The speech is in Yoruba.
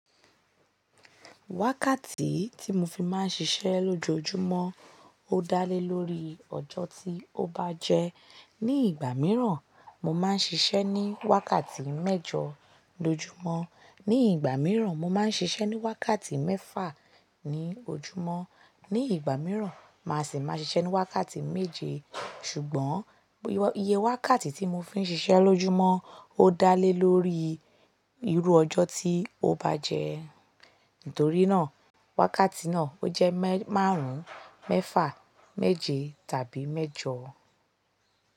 Wákàtí tí mo fi máa ń ṣiṣẹ́ lójoojúmọ́ ó dá lé lórí ọjọ́ tí ó bá jẹ. Ni ìgbà mìíràn, mo máa ń ṣiṣẹ́ ní wákàtí mẹ́jọ lójúmọ́, ní ìgbà mìíràn mo máa ń ṣiṣẹ́ ní wákàtí mẹ́fà ní ojúmọ́, ní ìgbà mìíràn, màá sì máa ṣiṣẹ́ ní wákàtí méje. Ṣùgbọ́n iye wákàtí tí mo fi ń ṣiṣẹ́ lójúmọ́ ó dá lé lórí irú ọjọ́ tí ó bá jẹ. Nítorí náà, wákàtí náà ó jẹ́ mẹ́ márùn ún, mẹ́fà, méje tàbí mẹ́jọ.